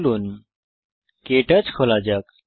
চলুন কে টচ খোলা যাক